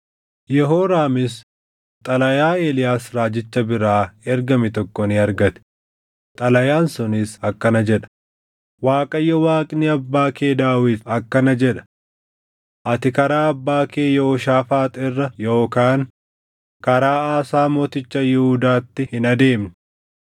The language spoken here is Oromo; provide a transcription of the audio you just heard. Yehooraamis xalayaa Eeliyaas raajicha biraa ergame tokko ni argate; xalayaan sunis akkana jedha: “ Waaqayyo Waaqni abbaa kee Daawit akkana jedha: ‘Ati karaa abbaa kee Yehooshaafaax irra yookaan karaa Aasaa mooticha Yihuudaatti hin adeemne.